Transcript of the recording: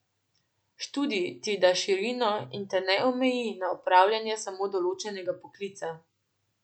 Študij ti da širino in te ne omeji na opravljanje samo določenega poklica.